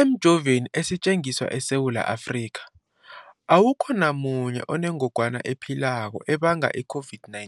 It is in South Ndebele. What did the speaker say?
Emijoveni esetjenziswa eSewula Afrika, awukho namunye onengog wana ephilako ebanga i-COVID-19.